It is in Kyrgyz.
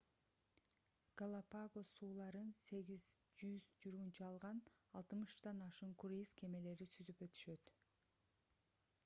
галапагос сууларын 8-100 жүргүнчү алган 60 ашуун круиз кемелери сүзүп өтүшөт